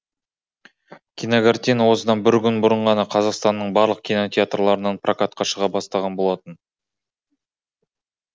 кинокартина осыдан бір күн бұрын ғана қазақстанның барлық кинотеатрларынан прокатқа шыға бастаған болатын